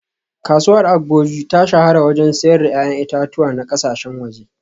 Kasuwar Agboju ta shahara wajen siyar da ‘ya’yan itatuwa na kasashen waje